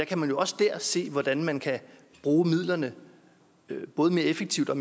kan man jo også der se hvordan man kan bruge midlerne både mere effektivt og